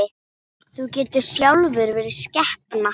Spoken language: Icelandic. Þú getur sjálfur verið skepna!